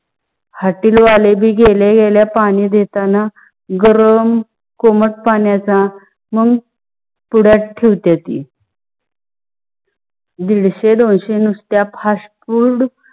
hotel वाले भी गेले गेल्या पानी देताना गरम कोमत पणाच्या मग थोडयात थेवटील. दिडसे दोनसे नुसत्या fastfood